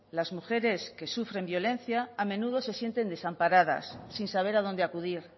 las mujeres que sufren violencia a menudo se sientes desamparadas sin saber a dónde acudir